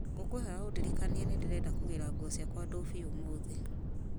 ngũkwĩhoya ũndirikanie nĩ ndĩrenda kũgĩra nguo ciakwa ndũbi ũmũthĩ